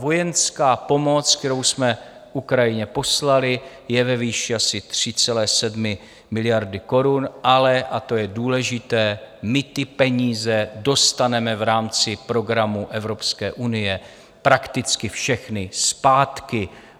Vojenská pomoc, kterou jsme Ukrajině poslali, je ve výši asi 3,7 miliardy korun, ale - a to je důležité - my ty peníze dostaneme v rámci programu Evropské unie prakticky všechny zpátky.